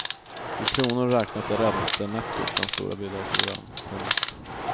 I kronor räknat är räntenettot den stora bidragsgivaren. punkt